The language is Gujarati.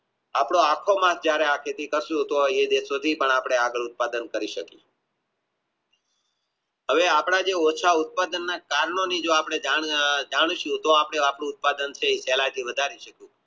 આપનો આખો માસ જયારે હવે આપણા જે ઓછા ઉત્પાદનના ની જાણ કરીયે તો આપણમેં આપણું ઉત્પાદન છે એ